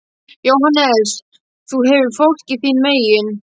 JÓHANNES: Þú hefur fólkið þín megin.